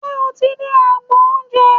Ṣe o ti dé agbọn oúnjẹ?